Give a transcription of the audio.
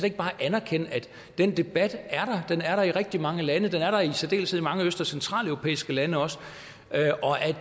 ikke bare anerkende at den debat er der den er der i rigtig mange lande den er der i særdeleshed mange øst og centraleuropæiske lande og at